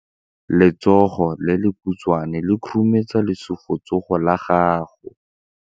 Letsogo le lekhutshwane le khurumetsa lesufutsogo la gago.